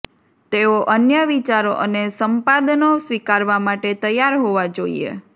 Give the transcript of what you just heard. તેઓ અન્ય વિચારો અને સંપાદનો સ્વીકારવા માટે તૈયાર હોવા જોઈએ